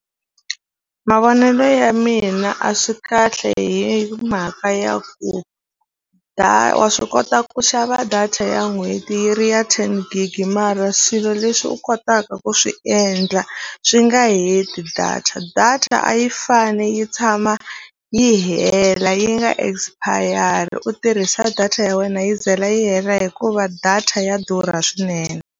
Mavonelo ya mina a swi kahle hi mhaka ya ku wa swi kota ku xava data ya n'hweti yi ri ya ten gig mara swilo leswi u kotaka ku swi endla swi nga heti data data a yi fani yi tshama yi hela yi nga expire u tirhisa data ya wena yi za yi hela hikuva data ya durha swinene.